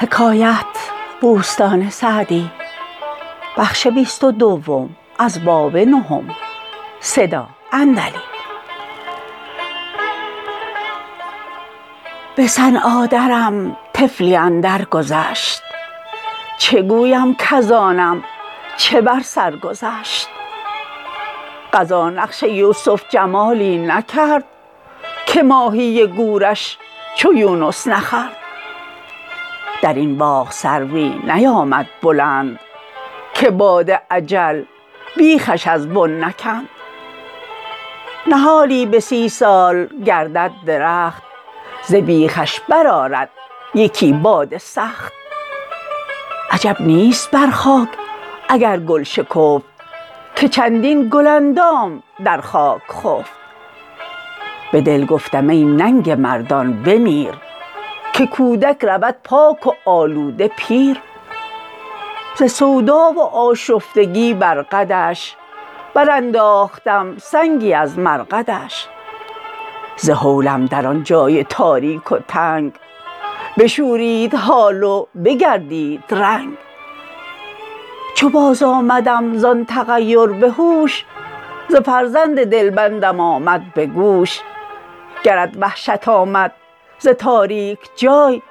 به صنعا درم طفلی اندر گذشت چه گویم کز آنم چه بر سر گذشت قضا نقش یوسف جمالی نکرد که ماهی گورش چو یونس نخورد در این باغ سروی نیامد بلند که باد اجل بیخش از بن نکند نهالی به سی سال گردد درخت ز بیخش بر آرد یکی باد سخت عجب نیست بر خاک اگر گل شکفت که چندین گل اندام در خاک خفت به دل گفتم ای ننگ مردان بمیر که کودک رود پاک و آلوده پیر ز سودا و آشفتگی بر قدش برانداختم سنگی از مرقدش ز هولم در آن جای تاریک و تنگ بشورید حال و بگردید رنگ چو باز آمدم زآن تغیر به هوش ز فرزند دلبندم آمد به گوش گرت وحشت آمد ز تاریک جای